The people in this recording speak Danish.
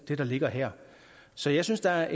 det der ligger her så jeg synes der er